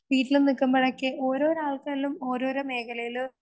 വീട്ടില് നിക്കുമ്പോഴൊക്കെ ഓരോ ഓരോരോ മേഖലയില്